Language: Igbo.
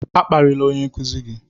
A kparịla onye nkuzi gị!